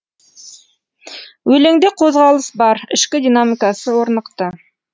өлеңде қозғалыс бар ішкі динамикасы орнықты